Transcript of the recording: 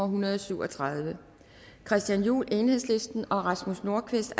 hundrede og syv og tredive christian juhl og rasmus nordqvist